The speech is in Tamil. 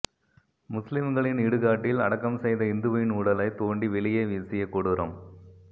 முஸ்லிம்களின் இடுகாட்டில் அடக்கம் செய்த இந்துவின் உடலை தோண்டி வெளியே வீசிய கொடூரம்